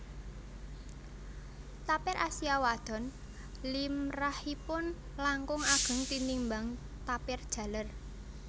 Tapir Asia wadon limrahipun langkung ageng tinimbang tapir jaler